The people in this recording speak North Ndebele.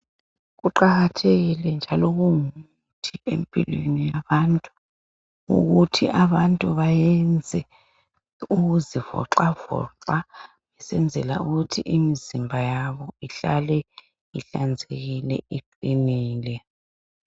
Kuqakathekile njalo kungumuthi empilweni yabantu ukuthi abantu bayenze ukuzivoxavoxa besenzela ukuthi imizimba yabo ihlale ihlanzekile, iqinile.